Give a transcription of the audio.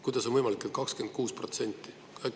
Kuidas on võimalik, et 26%?